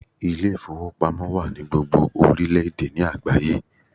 Ilé ìfowópamọ́ wà ní gbogbo orílẹ̀ èdè ní àgbáyé